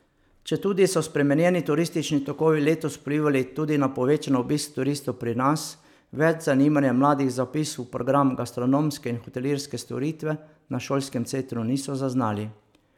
Četudi so spremenjeni turistični tokovi letos vplivali tudi na povečan obisk turistov pri nas, več zanimanja mladih za vpis v program gastronomske in hotelirske storitve na šolskem centru niso zaznali.